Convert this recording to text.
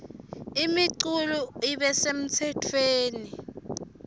imiculu ibe semtsetfweni